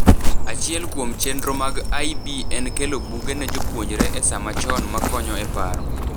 Achiel kuom chenro mag IB en kelo buge ne jopuonjre e sama chon ma konyo e paro.